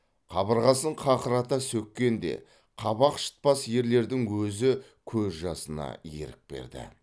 қабырғасын қақырата сөкең де қабақ шытпас ерлердің өзі көз жасына ерік берді